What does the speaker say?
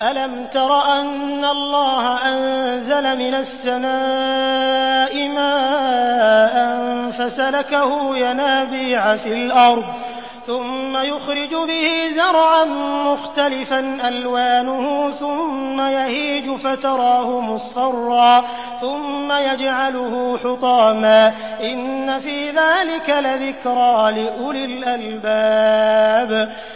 أَلَمْ تَرَ أَنَّ اللَّهَ أَنزَلَ مِنَ السَّمَاءِ مَاءً فَسَلَكَهُ يَنَابِيعَ فِي الْأَرْضِ ثُمَّ يُخْرِجُ بِهِ زَرْعًا مُّخْتَلِفًا أَلْوَانُهُ ثُمَّ يَهِيجُ فَتَرَاهُ مُصْفَرًّا ثُمَّ يَجْعَلُهُ حُطَامًا ۚ إِنَّ فِي ذَٰلِكَ لَذِكْرَىٰ لِأُولِي الْأَلْبَابِ